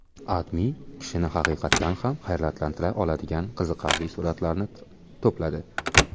AdMe kishini haqiqatan ham hayratlantira oladigan qiziqarli suratlarni to‘pladi .